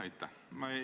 Aitäh!